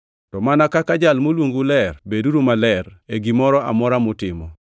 To mana kaka Jal moluongou ler, beduru maler e gimoro amora mutimo;